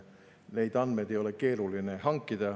Neid andmeid ei ole keeruline hankida.